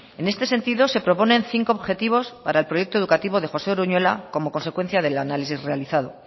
en este sentido se proponen cinco objetivos para el proyecto educativo de josé uruñuela como consecuencia del análisis realizado